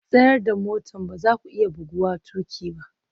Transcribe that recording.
Tsaida motar! ba za ku iya buguwa tuƙi ba